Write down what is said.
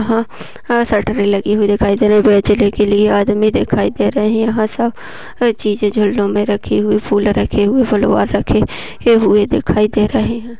ह शटर लगी हुई दिखाई दे रही है बेचने के लिए आदमी दिखाई दे रहे यहाँ सब चीज़े झरनो रखी हुई फुले रखी हुई फुलवार रखी हुए दिखाई दे रहे है।